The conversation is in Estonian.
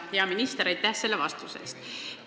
Hea minister, aitäh selle vastuse eest!